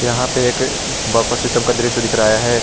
यहां पे एक बफर सिस्टम का दृश्य दिख रहा है।